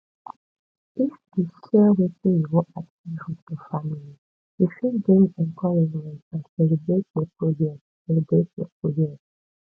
if you share wetin you wan achieve with your family e fit bring encouragement and celebrate your progress celebrate your progress